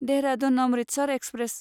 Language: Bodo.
देहरादुन अमृतसर एक्सप्रेस